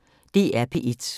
DR P1